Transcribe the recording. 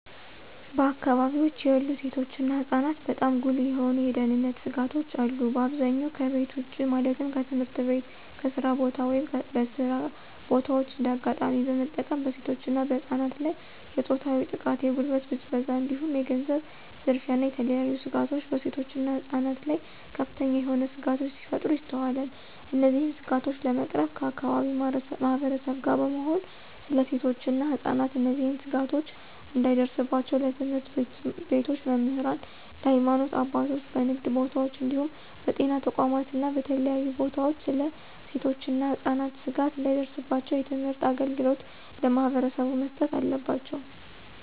በአከባቢወች ያሉ ሴቶች እና ህፃናትበጣም ጉልህ የሆኑ የደህንነት ስጋቶች አሉ። በአብዛኛው ከቤት ውጭ ማለትም ከትምህርት ቤት፣ ከስራ ቦታ፣ ወይም በስራ በታዎች እንደ አጋጣሚ በመጠቀም በሴቶች እና በህፃናት ላይ የፆታዊ ጥቃት፣ የጉልበት ብዝበዛ እንዲሁም የገንዘብ ዝርፊያ እና የተለያዬ ስጋቶች በሴቶች እና ህፃናት ላይ ከፍተኛ የሆነ ስጋቶች ሲፈጠሩ ይስተዋላል። እነዚህን ስጋቶች ለመቅረፍ ከአከባቢው ማህበረሰብ ጋር በመሆን ስለ ሴቶች እና ህፃናት እነዚህ ስጋቶች እንዳይደርስባቸው ለትምህርት ቤቶች መምህራን፣ ለሀይማኖት አባቶች፣ በንግድ ቦታወች እንዲሁም በጤና ተቋማት እና በተለያዩ ቦታወች ስለ ሴቶች እና ህፃናት ስጋት እንዳይደርስባቸው የትምህርት አገልግሎት ለማህበረሰቡ መስጠት አለባቸው።